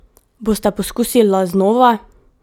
Bosta poskusila znova?